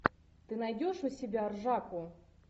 ты найдешь у себя ржаку